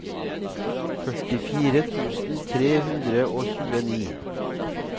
førtifire tusen tre hundre og tjueni